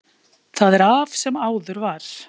Það er af, sem áður var.